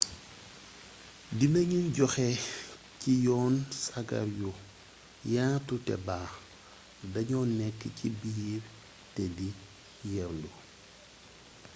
dina gnu joxe ci yoon sagar yu yaatu te baax dagno nekk ci biir te di yeerndu